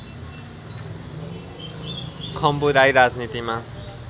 खम्बु राई राजनीतिमा